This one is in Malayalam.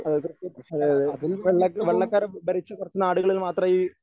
അതേ തീർച്ചയായും അതേയതേ വെള്ള വെള്ളക്കാര് ഭരിച്ച കുറച്ചു നാടുകളിൽ മാത്രമേ ഈ